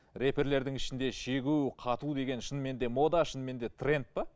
рэперлердің ішінде шегу қату деген шынымен де мода шынымен де трэнд пе